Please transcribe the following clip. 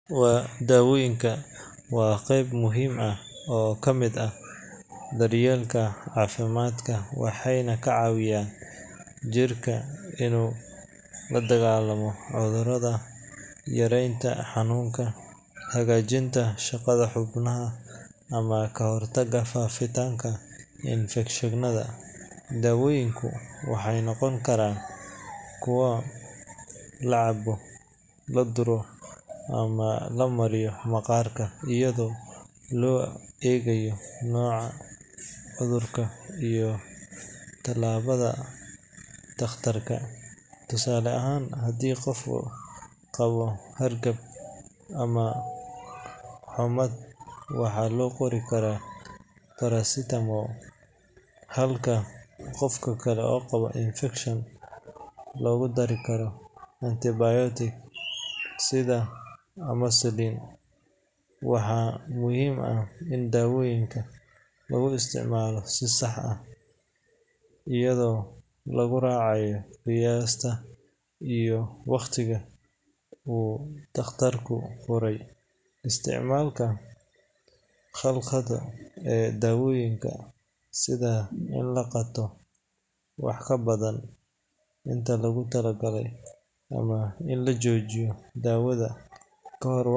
Daawooyinka waa qayb muhiim ah oo ka mid ah daryeelka caafimaadka, waxayna ka caawiyaan jirka inuu la dagaallamo cudurrada, yareeyo xanuunka, hagaajiyo shaqada xubnaha, ama ka hortago faafitaanka infekshannada. Daawooyinku waxay noqon karaan kuwo la cabbo, la duro, ama la mariyo maqaarka, iyadoo loo eegayo nooca cudurka iyo talada takhtarka. Tusaale ahaan, haddii qof qabo hargab ama xummad, waxaa loo qori karaa paracetamol, halka qof kale oo qaba infekshan loogu dari karo antibiotic sida amoxicillin. Waxaa muhiim ah in daawooyinka lagu isticmaalo si sax ah, iyadoo lagu raacayo qiyaasta iyo waqtiga uu takhtarku faray. Isticmaalka khaldan ee daawooyinka, sida in la qaato wax ka badan inta loogu talagalay ama in la joojiyo daawada kahor waqtigeeda.